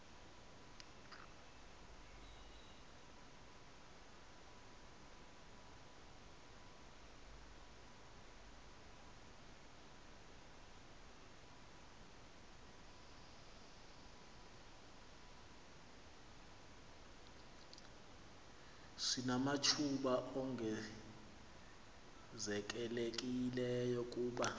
sinamathuba ongezelelekileyo kuba